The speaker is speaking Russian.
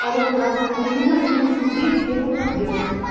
алло здравствуйте союзная семьдесят девять первый подъезд